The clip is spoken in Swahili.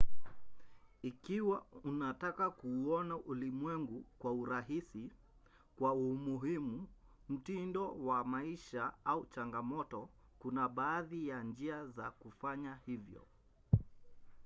ikiwa unataka kuuona ulimwengu kwa urahisi kwa umuhimu mtindo wa maisha au chamgamoto kuna baadhi ya njia za kufanya hivyo